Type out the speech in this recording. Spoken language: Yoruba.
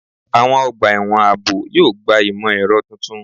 Àwọn ọgbà ẹ̀wọ̀n ààbò yóò gba imọ-ẹrọ tuntun